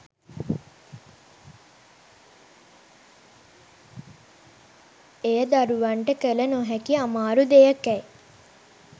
එය දරුවන්ට කළ නොහැකි අමාරු දෙයකැයි